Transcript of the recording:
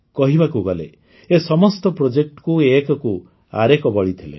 କହିବାକୁ ଗଲେ ଏ ସମସ୍ତ Projectକୁ ଏକକୁ ଆରେକ ବଳି ଥିଲେ